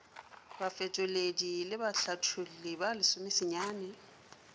bafetoledi le bahlatholli ba lesomesenyane